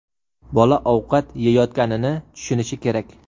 Bola ovqat yeyotganini tushunishi kerak.